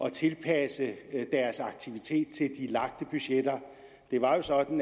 at tilpasse deres aktivitet til de lagte budgetter det var jo sådan